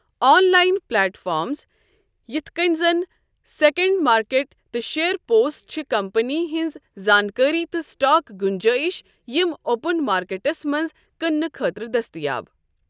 On line platforms, یِتھ کٔنۍ زَن سیکنڈ مارکیٹ تہٕ شیئر پوسٹ چھِ کمپنی ہنٛز زانٛکٲری تہٕ سِٹاک گُنٛجٲیِش یِم اوپن مارکیٹَس منٛز کٕنٕنہٕ خٲطرٕ دٔستِیاب۔